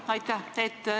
Jah, aitäh!